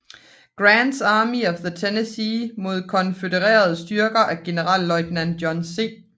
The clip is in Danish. Grants Army of the Tennessee mod konfødererede styrker fra generalløjtnant John C